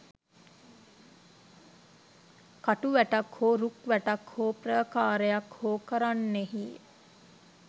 කටු වැටක් හෝ, රුක් වැටක් හෝ ප්‍රාකාරයක් හෝ කරන්නෙහිය.